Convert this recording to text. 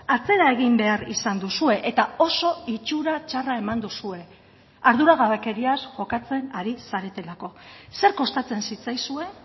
atzera egin behar izan duzue eta oso itxura txarra eman duzue arduragabekeriaz jokatzen ari zaretelako zer kostatzen zitzaizuen